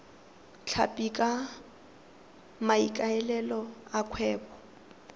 tlhapi ka maikaelelo a kgwebo